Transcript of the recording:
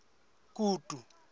kutu